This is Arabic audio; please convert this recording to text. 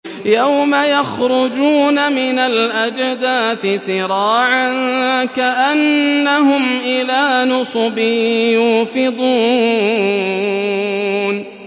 يَوْمَ يَخْرُجُونَ مِنَ الْأَجْدَاثِ سِرَاعًا كَأَنَّهُمْ إِلَىٰ نُصُبٍ يُوفِضُونَ